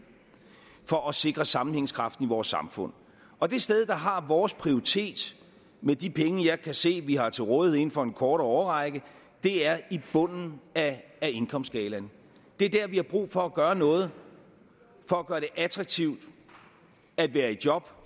for at sikre sammenhængskraften i vores samfund og det sted der har vores prioritet med de penge jeg kan se vi har til rådighed inden for en kortere årrække er i bunden af indkomstskalaen det er der vi har brug for at gøre noget for at gøre det attraktivt at være i job